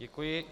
Děkuji.